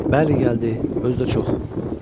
Bəli, gəldi, özü də çox.